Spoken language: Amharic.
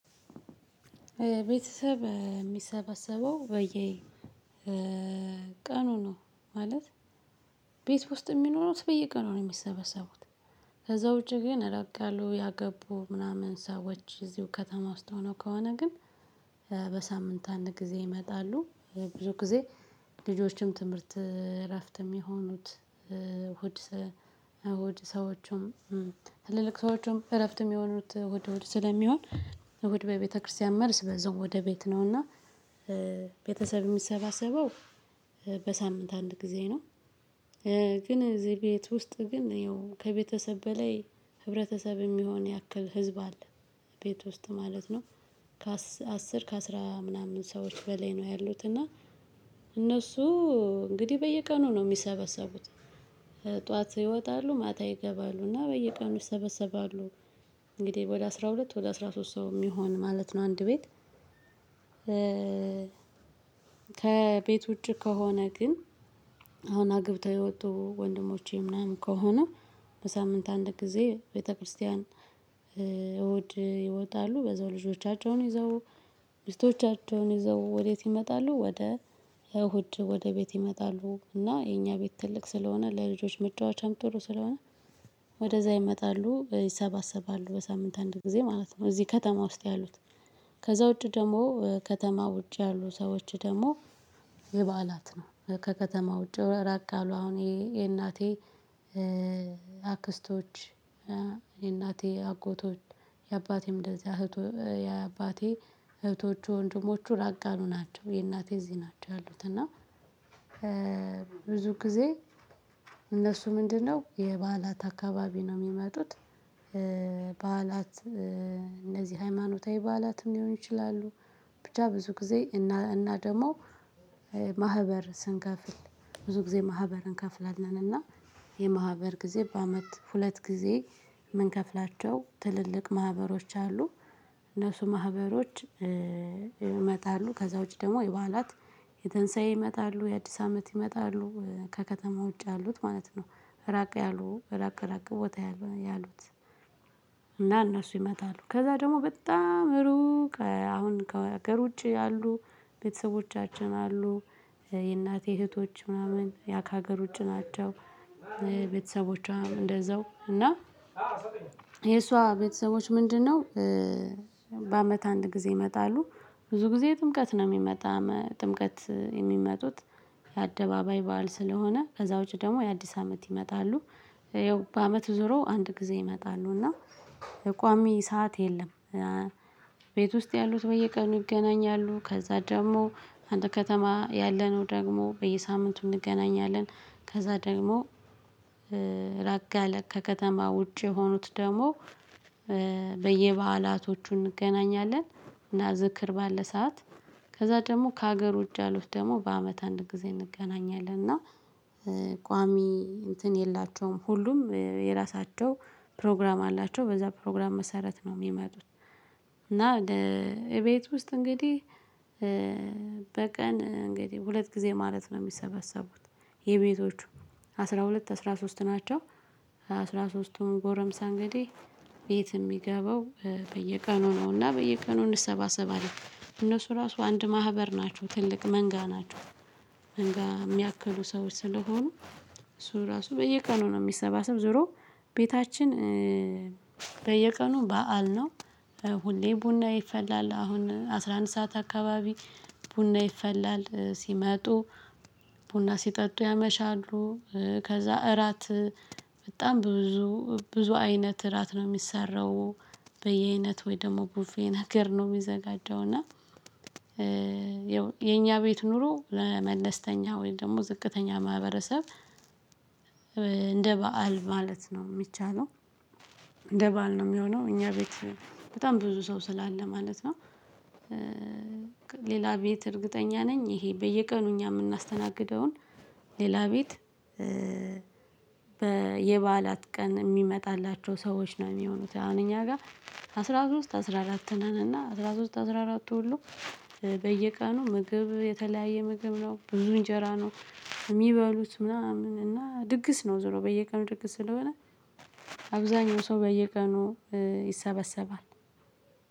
ቤተሰብ የሚሰባሰበው በየ ቀኑ ነው ማለት ቤት ውስጥ ሚኖሩት በየቀኑ ነው የሚሰበሰቡት። ከዛ ውጪ ግን እራቅ ያሉ ያገቡ ምናምን ሰዎች እዚሁ ከተማ ውስጥ ሆነው ከሆነ ግን በሳምንት አንድ ጊዜ ይመጣሉ። ብዙ ጊዜ ልጆችን ትምህርት እረፍት የሚሆኑት እሁድ ሰዎቹም ትልልቅ ሰዎቹም እረፍት የሚሆኑት እሁድ እሁድ ስለሚሆን እሁድ በቤተክርስቲያን መልስ በዚያው ወደቤት ነውና። ቤተሰብ የሚሰባሰበው በሳምንት አንድ ጊዜ ነው። ግን እዚህ ቤት ውስጥ ግን ያው ከቤተሰብ በላይ ህብረተሰብ የሚሆን ያክል ህዝብ አለ። ቤት ውስጥ ማለት ነው። ከ አስር ከአስራ ምናምን ሰዎች በላይ ነው ያሉት እና እነሱ እንግዲህ በየቀኑ ነው ሚሰበሰቡት። ጠዋት ይወጣሉ ማታ ይገባሉ እና በየቀኑ ይሰበሰባሉ። እንግዲህ ወደ አስራ ሁለት ወደ አስራ ሶስት ሰው የሚሆን ማለት ነው አንድ ቤት። ከቤት ውጪ ከሆነ ግን አሁን አግብተው የወጡ ወንድሞቼ ምናምን ከሆነ በሳምንት አንድ ጊዜ ቤተክርስቲያን። ይወጣሉ በዛው ልጆቻቸውን ይዘው ሚስቶቻቸውን ይዘው ወዴት ይመጣሉ ወደ እሁድ ወደ ቤት ይመጣሉ እና የኛ ቤት ትልቅ ስለሆነ ለልጆች መጫወቻም ጥሩ ስለሆነ ወደዚያ ይመጣሉ። ይሰባሰባሉ በሳምንት አንድ ጊዜ ማለት ነው። እዚህ ከተማ ውስጥ ያሉት። ከዛ ውጪ ደግሞ ከተማ ውጪ ያሉ ሰዎች ደግሞ የበዓላት ነው ከከተማ ውጪ ራቅ አሉ አሁን የእናቴ አክስቶች የእናቴ አጎቶች የአባቴም እንደዚህ አባቴ እህቶች ወንድሞቹ ራቅ ያሉ ናቸው። የእናቴ እዚህ ናቸው ያሉት። እና ብዙ ጊዜ እነሱ ምንድነው የበዓላት አካባቢ ነው የሚመጡት? በዓላት እነዚህ ሃይማኖታዊ በዓላትም ሊሆኑ ይችላሉ። ብቻ ብዙ ጊዜ እና ደግሞ ማህበር ስንከፍል ብዙ ጊዜ ማህበር እንከፍላለን። እና የማህበር ጊዜ በአመት ሁለት ጊዜ የምንከፍላቸው ትልልቅ ማህበሮች አሉ። እነሱ ማህበሮች ይመጣሉ ከዛ ውጪ ደግሞ የበዓላት የተንሳይ ይመጣሉ። የአዲስ አመት ይመጣሉ ከከተማ ውጭ ያሉት ማለት ነው። ራቅ ያሉ ራቅ ቦታ ያሉት። እና እነሱ ይመጣሉ ከዛ ደግሞ በጣም ሩቅ አሁን ከሀገር ውጪ አሉ ቤተሰቦቻችን አሉ የእናቴ እህቶች ምናምን ያ ከሀገር ውጪ ናቸው። ቤተሰቦቿ እንደዛው እና የእሷ ቤተሰቦች ምንድነው? በአመት አንድ ጊዜ ይመጣሉ። ብዙ ጊዜ የጥምቀት ነው የሚመጣ ጥምቀት የሚመጡት። የአደባባይ በዓል ስለሆነ ከዛ ውጪ ደግሞ የአዲስ አመት ይመጣሉ። ይኸው በአመቱ ዞሮ አንድ ጊዜ ይመጣሉ እና ቋሚ ሰዓት የለም። ቤት ውስጥ ያሉት በየቀኑ ይገናኛሉ ከዛ ደግሞ አንድ ከተማ ያለነው ደግሞ በየሳምንቱ እንገናኛለን። ከዛ ደግሞ ራቅ ያለ ከከተማ ውጪ የሆኑት ደግሞ በየበአላቶቹ እንገናኛለን። እና ዝክር ባለ ሰዓት ከዛ ደግሞ ከሀገር ውጭ ያሉት ደግሞ በአመት አንድ ጊዜ እንገናኛለን። እና ቋሚ እንትን የላቸውም ሁሉም የራሳቸው ፕሮግራም አላቸው በዚያ ፕሮግራም መሰረት ነው ሚመጡት። እና እንደ እቤት ውስጥ እንግዲህ በቀን እንግዲህ ሁለት ጊዜ ማለት ነው የሚሰበሰቡት። የቤቶቹ አስራ ሁለት፣ አስራ ሶስት ናቸው። አስራ ሦስትቱም ጎረምሳ እንግዲህ ቤት የሚገባው በየቀኑ ነውና በየቀኑ እንሰባሰባለን እነሱ ራሱ አንድ ማህበር ናቸው ትልቅ መንጋ ናቸው። መንጋ የሚያክሉ ሰዎች ስለሆኑ እሱ ራሱ በየቀኑ ነው የሚሰባሰብ ዞሮ ቤታችን በየቀኑ በዓል ነው። ሁሌ ቡና ይፈላል አሁን አስራ አንድ ሰዓት አካባቢ ቡና ይፈላል ሲመጡ ቡና ሲጠጡ ያመሻሉ። ከዛ እራት በጣም ብዙ ብዙ አይነት እራት ነው የሚሰራው። ወይ ደግሞ ቡፌን ሀገር ነው የሚዘጋጀው። እና ይኸው የኛ ቤት ኑሮ ለመለስተኛ ወይም ደግሞ ዝቅተኛ ማህበረሰብ እንደ በዓል ማለት ነው የሚቻለው። እንደ በዓል ነው የሚሆነው እኛ ቤት በጣም ብዙ ሰው ስላለ ማለት ነው። ሌላ ቤት እርግጠኛ ነኝ ይሄ በየቀኑ እኛ የምናስተናግደውን ሌላ ቤት የበዓላት ቀን የሚመጣላቸው ሰዎች ነው የሚሆኑት። አሁን እኛ ጋር አስራ ሶስት አስራ አራት ነን እና አስራ ሶስት አስራ አራቱ ሁሉ በየቀኑ ምግብ የተለያየ ምግብ ነው ብዙ እንጀራ ነው። ሚበሉት ምናምን እና ድግስ ነው ዙሮ በየቀኑ ድግስ ስለሆነ አብዛኛው ሰው በየቀኑ ይሰበሰባል።